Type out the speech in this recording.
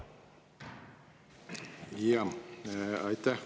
Aitäh!